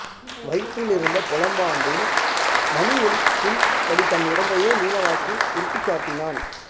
வயிற்றிலிருந்த பொலம்பாண்டில் மணி ஒலிக்கும்படி தன் உடம்பையே நீளவாக்கில் உருட்டிக் காட்டினான்